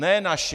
Ne naši.